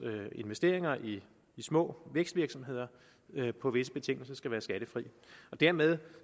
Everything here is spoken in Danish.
investeringer i de små vækstvirksomheder på visse betingelser skal være skattefri dermed